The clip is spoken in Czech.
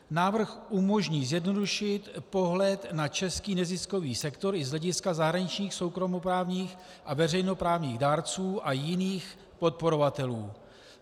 Návrh umožní zjednodušit pohled na český neziskový sektor i z hlediska zahraničních soukromoprávních a veřejnoprávních dárců a jiných podporovatelů.